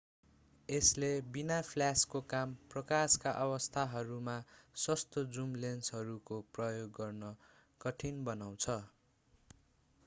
यसले बिना फ्ल्याशको कम प्रकाशका अवस्थाहरूमा सस्तो जुम लेन्सहरूको प्रयोग गर्न कठिन बनाउँछ